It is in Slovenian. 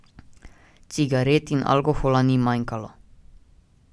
Cigaret in alkohola ni manjkalo!